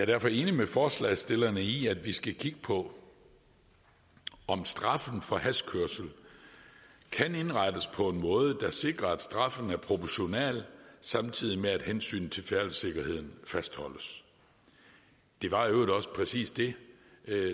derfor enig med forslagsstillerne i at vi skal kigge på om straffen for hashkørsel kan indrettes på en måde der sikrer at straffen er proportional samtidig med at hensynet til færdselssikkerheden fastholdes det var i øvrigt præcis det